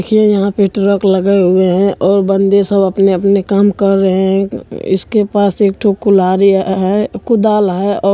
ये यहाँ पे ट्रक लगे हुए है और बंदे सब अपने-अपने काम कर रहे है अं इसके पास एक ठो कुल्हाड़ी है कुदाल है और --